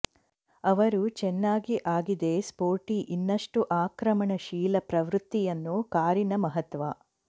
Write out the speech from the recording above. ಅವರು ಚೆನ್ನಾಗಿ ಆಗಿದೆ ಸ್ಪೋರ್ಟಿ ಇನ್ನಷ್ಟು ಆಕ್ರಮಣಶೀಲ ಪ್ರವೃತ್ತಿಯನ್ನು ಕಾರಿನ ಮಹತ್ವ